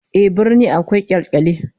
Ehh, birni akwai kyalkyali